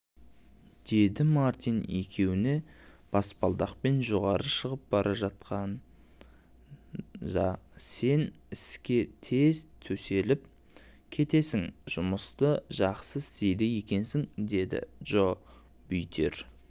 деді мартин екеуі баспалдақпен жоғары шығып бара жатқандасен іске тез төселіп кетесің жұмысты жақсы істейді екенсің деді джобүйтер